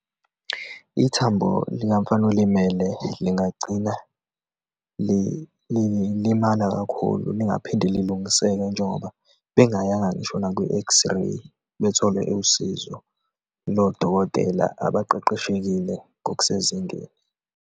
Ithambo likamfana olimele, lingagcina limala kakhulu, lingaphinde lilungiseke njengoba bengayanga ngisho nakwi-xray, bethole usizo lodokotela abaqeqeshekile ngokusezingeni.